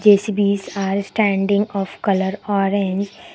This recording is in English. J_C_Bs are standing of colour orange.